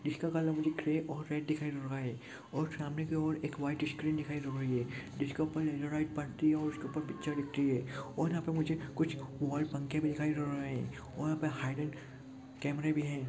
इसका कलर मुझे दिखाई दे रहे हैं और सामने की ओर एक व्हाइट स्क्रीन दिखाई दे रही हैं जिसके ऊपर एक रेड पट्टी और उसके पिक्चर दिख रही हैं और यहाँ पर मुझे कुछ वाल पंखे भी दिखाई दे रहे हैं और यहाँ पे हाइलाइट कैमेरे भी हैं।